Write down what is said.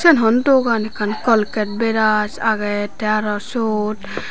eben hon dogan ekkan colgate bras agey tey aro syot.